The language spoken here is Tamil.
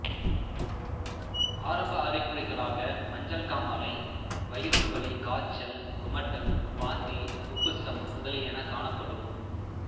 ஆரம்ப அறிகுறிகளாக மஞ்சள் காமாலை வயிற்றுவலி காய்ச்சல் குமட்டல் வாந்தி உப்புசம் முதலியனகாணப்படும்